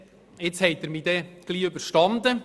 Bald haben Sie mich überstanden!